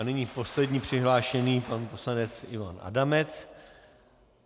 A nyní poslední přihlášený pan poslanec Ivan Adamec.